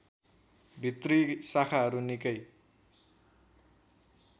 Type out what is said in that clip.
भित्री शाखाहरू निकै